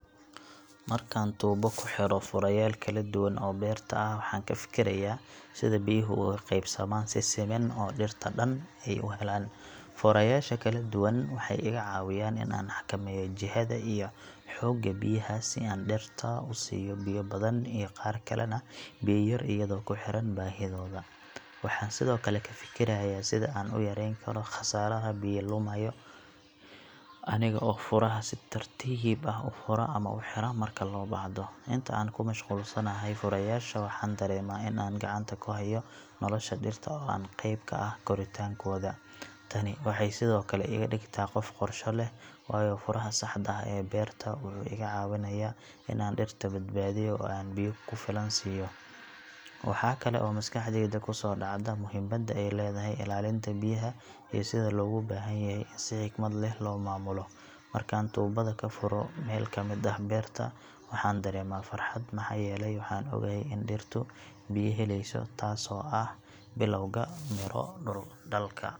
Markaan tuubo ku xidho furayaal kala duwan oo beerta ah, waxaan ka fikirayaa sida biyuhu ugu qaybsamaan si siman oo dhirta dhan ay u helaan. Furayaasha kala duwan waxay iga caawiyaan in aan xakameeyo jihada iyo xoogga biyaha si aan dhirta qaar u siiyo biyo badan iyo qaar kalena biyo yar iyadoo ku xiran baahidooda. Waxaan sidoo kale ka fikirayaa sida aan u yareyn karo khasaaraha biyo lumaya, aniga oo furaha si tartiib ah u fura ama u xira marka loo baahdo. Inta aan ku mashquulsanahay furayaasha, waxaan dareemaa in aan gacanta ku hayo nolosha dhirta oo aan qayb ka ahay koritaankooda. Tani waxay sidoo kale iga dhigtaa qof qorshe leh, waayo furaha saxda ah ee beerta wuxuu iga caawinayaa in aan dhirta badbaadiyo oo aan biyo ku filan siiyo. Waxaa kale oo maskaxdayda ku soo dhacda muhiimadda ay leedahay ilaalinta biyaha iyo sida loogu baahan yahay in si xikmad leh loo maamulo. Markaan tuubada ka furo meel ka mid ah beerta, waxaan dareemaa farxad maxaa yeelay waxaan ogahay in dhirtu biyo helayso, taasoo ah bilowga midho dhalka.